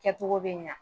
Kɛcogo bɛ ɲa